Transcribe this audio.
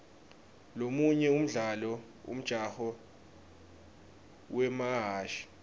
lomunye umdlalo umjaho wemahhashi